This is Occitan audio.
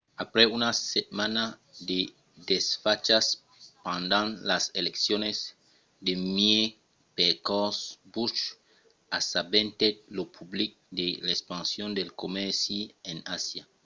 après una setmana de desfachas pendent las eleccions de mièg-percors bush assabentèt lo public de l'expansion del comèrci en asia